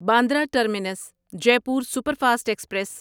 Bandra terminus Jaipur super fast express